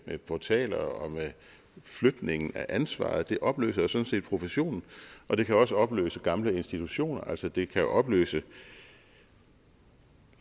til portaler og med flytningen af ansvaret det opløser sådan set professionen og det kan også opløse gamle institutioner altså det kan opløse